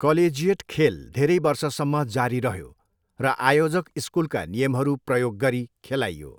Collegiate खेल धेरै वर्षसम्म जारी रह्यो र आयोजक स्कुलका नियमहरू प्रयोग गरी खेलाइयो।